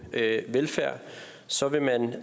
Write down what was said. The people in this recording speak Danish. velfærd og så vil man